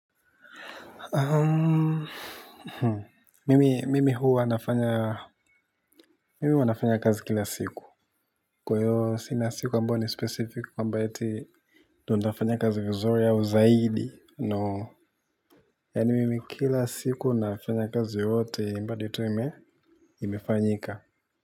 Mimi huwa nafanya mimi huwa nafanya kazi kila siku kwa hivyo sina siku ambayo ni specific ambayo eti ndio nitafanya kazi vizuri au zaidi no yaani mimi kila siku nafanya kazi yote mbali tu imefanyika.